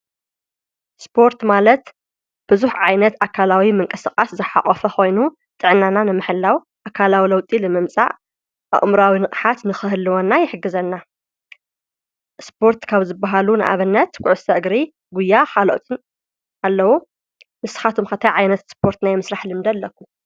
ስጶርት ማለት ብዙኅ ዓይነት ኣካላዊ ምንቀሥቓት ዝሓቖፈ ኾይኑ ጥዕናና ነምሐላው ኣካላዊ ለውጢል መምጻዕ ኣቕምራዊ ንእኃት ንኽህልወና ይሕግዘና ስጶርት ካብ ዝበሃሉ ንኣበነት ኲዑሥተ እግሪ ጕያ ኻልኦትን ኣለዉ ንስኻቶም ከታይ ዓይነት ስጶርት ናየምስራሕ ልምዲ ኣለኩ